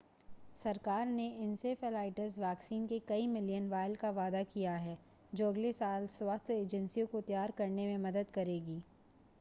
सरकार ने encephalitis vaccine के कई मिलियन वायल का वादा किया है जो अगले साल स्वास्थ्य एजेंसियों को तैयार करने में मदद करेगी